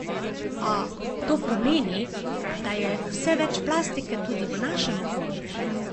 A, to pomeni, da je vse več plastike tudi v našem okolju.